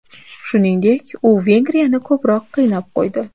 Shuningdek, u Vengriyani ko‘proq qiynab qo‘ydi.